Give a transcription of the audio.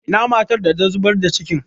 Ina matar da ta zubar da cikin?